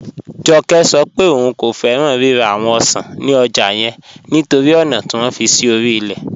Jọ́kẹ́ sọ̀ pẹ̀ ọún kò fẹ́ran rírà awọn ọ̀ṣan ni ọ́jà yẹn nítorí ọna tí wọn fi sí orí ilẹ̀.